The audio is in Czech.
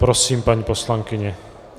Prosím, paní poslankyně.